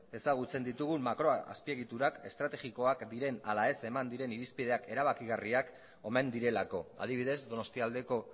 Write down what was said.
ezagutzen ditugun makroazpiegiturak estrategikoak diren ala ez eman diren irizpideak erabakigarriak omen direlako adibidez donostialdeko